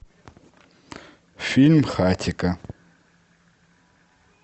фильм хатико